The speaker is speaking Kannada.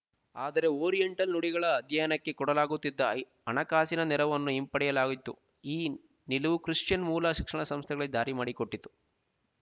ಆದರೆ ಓರಿಯೆಂಟಲ್ ನುಡಿಗಳ ಅಧ್ಯಯನಕ್ಕೆ ಕೊಡಲಾಗುತಿದ್ದ ಹಣಕಾಸಿನ ನೆರವನ್ನು ಹಿಂಪಡೆಯಲಾಯ್ತು ಈ ನಿಲುವು ಕ್ರಿಶ್ಚಿಯನ್ ಮೂಲ ಶಿಕ್ಷಣ ಸಂಸ್ಥೆಗಳೆ ದಾರಿ ಮಾಡಿಕೊಟ್ಟಿತು